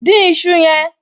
Dín iṣu yẹn!